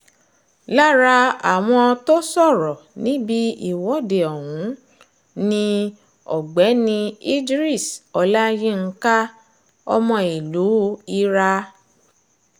lára àwọn tó sọ̀rọ̀ níbi ìwọ́de ọ̀hún ni ọ̀gbẹ́ni idris olayinka ọmọ ìlú ira